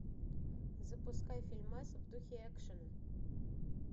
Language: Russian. запускай фильмас в духе экшена